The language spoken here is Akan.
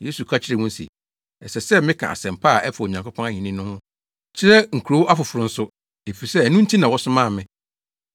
Yesu ka kyerɛɛ wɔn se, “Ɛsɛ sɛ meka asɛmpa a ɛfa Onyankopɔn ahenni ho no kyerɛ nkurow afoforo nso, efisɛ ɛno nti na wɔsomaa me.”